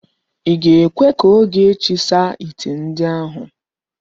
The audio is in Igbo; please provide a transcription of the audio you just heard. I ga-ekwe ka Ogechi saa ite ndi ahụ?